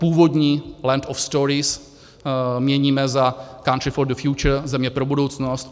Původní Land of Stories měníme za Country for The Future, Země pro budoucnost.